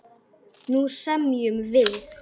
Nú semjum við!